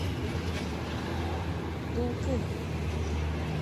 дулкын